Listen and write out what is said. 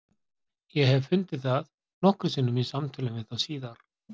Ég hef fundið það nokkrum sinnum í samtölum við þá síðar.